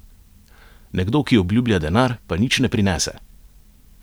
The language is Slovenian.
Nekdo, ki obljublja denar, pa nič ne prinese?